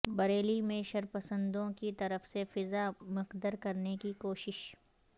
بریلی میں شرپسندوں کی طرف سے فضا مکدر کرنے کی کوشش